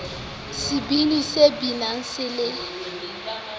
sebini se binang se le